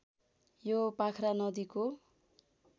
यो पाख्रा नदीको